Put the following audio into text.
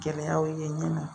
Gɛlɛyaw ye ne ma